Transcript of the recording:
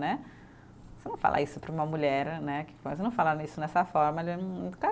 Né, você não fala isso para uma mulher né, que quase não fala nisso nessa forma, já é muito